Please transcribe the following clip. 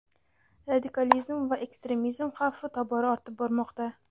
radikalizm va ekstremizm xavfi tobora ortib bormoqda.